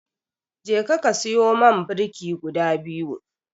Jeka ka siyo man birki guda biyu.